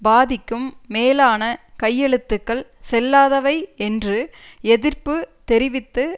பாதிக்கும் மேலான கையெழுத்துக்கள் செல்லாதவை என்று எதிர்ப்பு தெரிவித்து